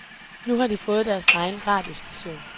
Nu har de fået deres egen radiostation.